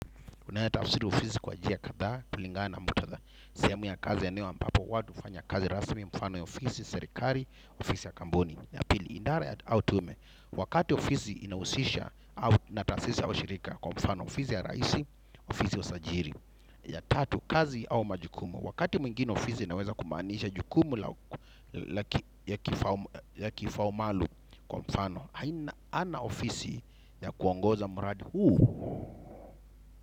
Unaeza tafsiri ofisi kwa njia kadhaa kulingana muktadha. Sehemu ya kazi ya eneo ambapo watu hufanya kazi rasmi mfano ya ofisi, serikali, ofisi ya kampuni na pili idara ya au tume. Wakati ofisi inahusisha na tasisi ya ushirika. Kwa mfano ofisi ya raisi, ofisi ya usajili. Ya tatu, kazi au majukumu. Wakati mwingine ofisi inaweza kumaanisha jukumu. Ya kifaa maalum kwa mfano haina ana ofisi ya kuongoza mradi huu.